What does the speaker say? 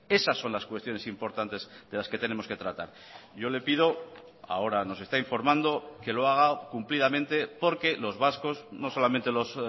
esas son las cuestiones importantes de las que tenemos que tratar yo le pido ahora nos está informando que lo haga cumplidamente porque los vascos no solamente los